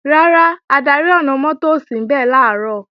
Rárá, adarí ọ̀nà-mọ́tò ò sínbẹ̀ làárọ̀